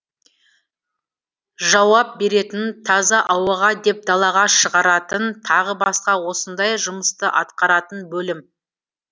жауап беретін таза ауаға деп далаға шығаратын тағы басқа осындай жұмысты атқаратын бөлім